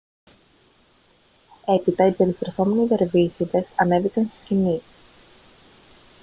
έπειτα οι περιστρεφόμενοι δερβίσηδες ανέβηκαν στη σκηνή